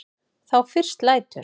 Þá fyrst lætur